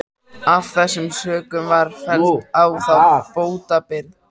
Af þessum sökum var felld á þá bótaábyrgð.